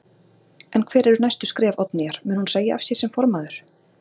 En hver eru næstu skref Oddnýjar, mun hún segja af sér sem formaður?